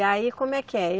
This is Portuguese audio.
E aí, como é que é?